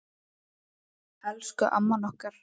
Elsku amman okkar.